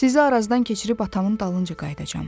Sizi Arazdan keçirib atamın dalınca qayıdacam.